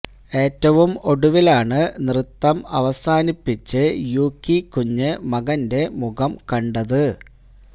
ഏറ്റവും ഒടുവിലാണ് നൃത്തം അവസാനിപ്പിച്ച് യൂകി കുഞ്ഞ് മകന്റെ മുഖം കണ്ടത്